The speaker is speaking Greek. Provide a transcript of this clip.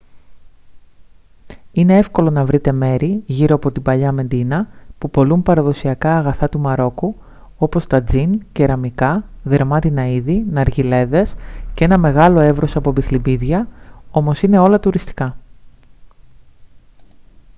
είναι εύκολο να βρείτε μέρη γύρω από την παλαιά μεντίνα που πωλούν παραδοσιακά αγαθά του μαρόκου όπως τατζίν κεραμικά δερμάτινα είδη ναργιλέδες και ένα μεγάλο εύρος από μπιχλιμπίδια όμως είναι όλα τουριστικά